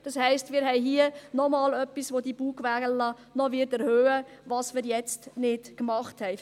Das heisst, wir haben hier noch etwas, das wir jetzt nicht machen und das die Bugwelle noch erhöhen wird.